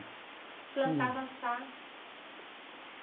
Plantava chá.